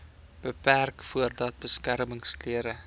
beperk voordat beskermingsklere